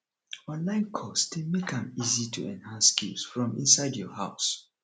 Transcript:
online course dey make am easy to enhance skills from inside your house